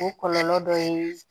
O kɔlɔlɔ dɔ ye